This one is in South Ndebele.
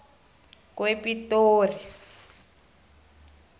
kwepitori